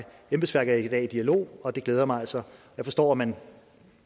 embedsværket er i dag i dialog og det glæder mig altså jeg forstår at man